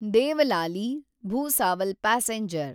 Devlali Bhusawal passenger